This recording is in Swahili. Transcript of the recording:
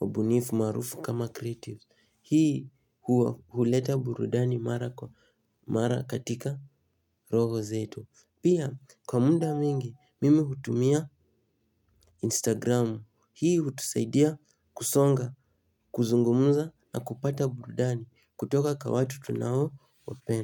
wabunifu maarufu kama creative. Hii huleta burudani mara kwa mara katika roho zetu. Pia kwa muda mwingi mimi hutumia Instagram. Hii hutusaidia kusonga, kuzungumza na kupata burudani kutoka kwa watu tunao wapenda.